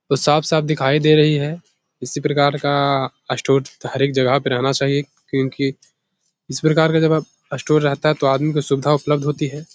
ओ साफ़-साफ़ दिखाई दे रही है। इसी प्रकार का स्टोर हर एक जगह पे रहना चाहिए क्योकि इसी प्रकार का जब आप स्टोर रहता है तो आदमी को सुविधा उपलब्ध होती है।